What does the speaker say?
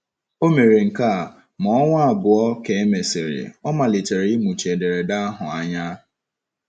O mere nke a, ma ọnwa abụọ ka e mesịrị, ọ malitere ịmụchi ederede ahụ anya.